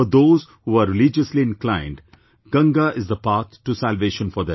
For those who are religiously inclined, Ganga is the path to salvation for them